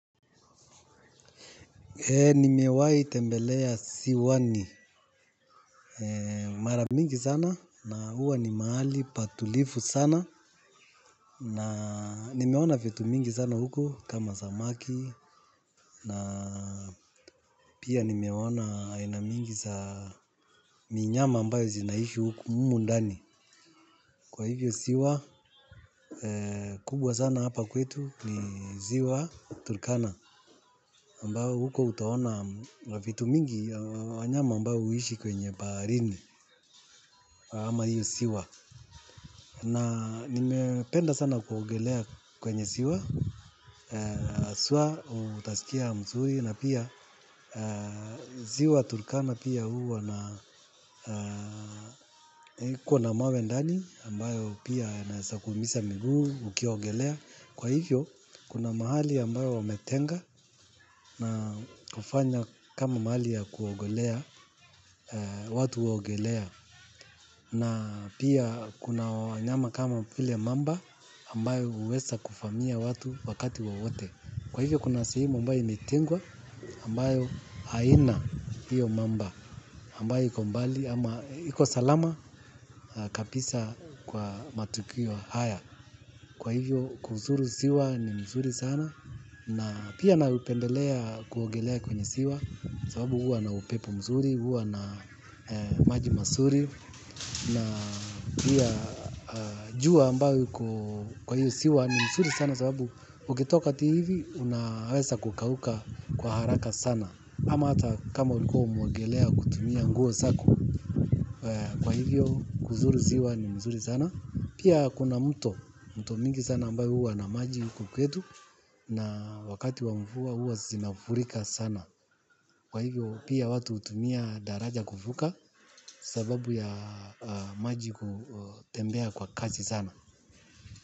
Nimewai tembelea ziwani maramingi sana na huwa ni mahali patulivu sana na nimeona vitu mingi sana huko kama zamaki na pia nimeona ainamingi za minyama ambayo zinaishi huko humundani. Kwa hivyo siwa kubwa sana hapa kwetu ni ziwa Turkana ambayo huko utaona vitu mingi wanyama ambayo uishi kwenye baharini. Ama hiyo siwa. Na nime penda sana kuogelea kwenye siwa, aswa utasikia mzuri na pia ziwa turkana pia huwa na kuna mawe ndani ambayo pia naweza kumisa miguu ukiwaogelea. Kwa hivyo, kuna mahali ambayo wametenga na kufanya kama mahali ya kuogelea watu huogelea. Na pia kuna wanyama kama vile mamba ambayo uweza kuvamia watu wakati wowote. Kwa hivyo, kuna sehemu ambayo imetengwa ambayo haina hiyo mamba ambayo ikombali ama iko salama kabisa kwa matukio haya. Kwa hivyo kuzuri siwa ni mzuri sana. Na pia na upendelea kuogelea kwenye siwa. Sababu huwa na upepo mzuri, huwa na maji masuri. Na pia jua ambayo iko kwa hiyo siwa ni mzuri sana. Sababu ukitoka tu hivi unawesa kukauka kwa haraka sana. Ama hata kama ulikuwa umeogelea kutumia nguo sako. Kwa hivyo kuzuri siwa ni mzuri sana. Pia kuna mto mto mto mingi sana ambayo uwa na maji huku kwetu na wakati wa mvua uwa zinafurika sana. Kwa hivyo pia watu utumia daraja kuvuka sababu ya maji kutembea kwa kasi sana.